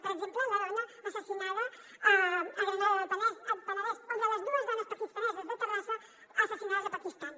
per exemple la dona assassinada a la granada del penedès o de les dues dones pakistaneses de terrassa assassinades al pakistan